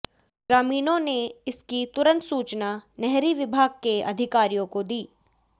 ग्रामीणों ने इसकी तुरंत सूचना नहरी विभाग के अधिकारियों को दी